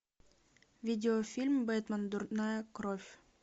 видеофильм бэтмен дурная кровь